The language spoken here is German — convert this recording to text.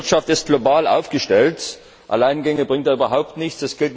Die Wirtschaft ist global aufgestellt, Alleingänge bringen da überhaupt nichts.